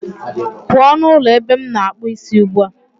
Pụọ n'ụlọ ebe m na-akpụ isi ugbu a